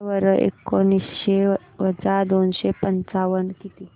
सांगा बरं एकोणीसशे वजा दोनशे पंचावन्न किती